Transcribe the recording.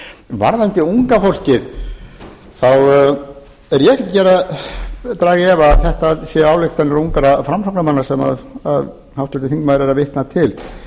varðandi unga fólkið þá er ég ekkert að draga í efa að þetta séu ályktanir ungra framsóknarmanna sem háttvirtur þingmaður er að vitna til